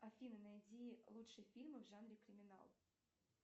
афина найди лучшие фильмы в жанре криминал